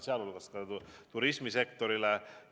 Seda arutelu tuleb uuesti pidada.